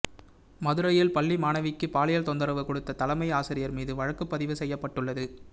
மதுரையில் பள்ளி மாணவிக்கு பாலியல் தொந்தரவு கொடுத்த தலைமை ஆசிரியர் மீது வழக்குப்பதிவு செய்யப்பட்டுள்ளது